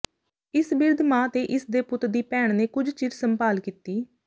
ਇਸ ਬਿਰਧ ਮਾਂ ਤੇ ਇਸ ਦੇ ਪੁੱਤ ਦੀ ਭੈਣ ਨੇ ਕੁਝ ਚਿਰ ਸੰਭਾਲ ਕੀਤੀ